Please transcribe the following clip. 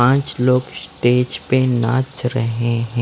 पाँच लोग स्टेज पर नाच रहे हें।